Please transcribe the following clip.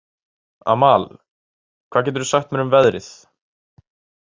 Amal, hvað geturðu sagt mér um veðrið?